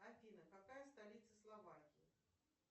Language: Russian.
афина какая столица словакии